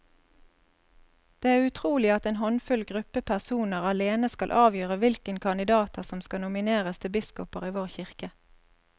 Det er utrolig at en håndfull gruppe personer alene skal avgjøre hvilke kandidater som skal nomineres til biskoper i vår kirke.